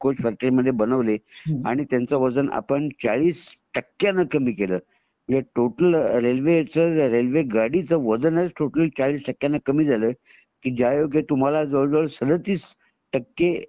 factory railway coach मध्ये बनवले आणि त्यांच वजन आपण चाळीस टक्क्याने कमी केलं टोटल रेल्वे च टोटल रेल्वे गाडी च टोटल चाळीस टक्क्याने कमी झालंय तुम्हाला जवळ जवळ सदतीस टक्के